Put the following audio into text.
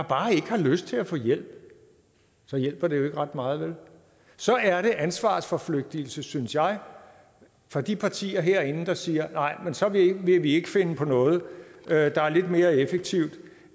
bare ikke har lyst til at få hjælp så hjælper det jo ikke ret meget vel så er det ansvarsforflygtigelse synes jeg fra de partiers side herinde der siger nej men så vil vi ikke finde på noget der er lidt mere effektivt